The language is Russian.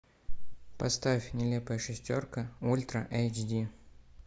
поставь нелепая шестерка ультра эйч ди